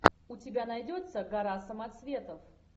у тебя найдется гора самоцветов